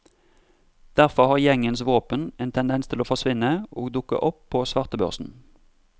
Derfor har gjengens våpen en tendens til å forsvinne og dukke opp på svartebørsen.